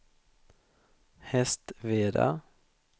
Hästveda